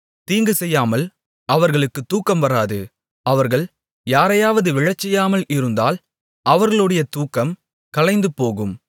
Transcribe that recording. தீங்கு செய்யாமல் அவர்களுக்கு தூக்கம் வராது அவர்கள் யாரையாவது விழச்செய்யாமல் இருந்தால் அவர்களுடைய தூக்கம் கலைந்துபோகும்